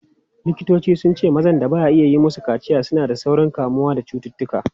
Likitoci sun ce mazan da ba a yi musu kaciya suna da saurin kamuwa da cututtuka.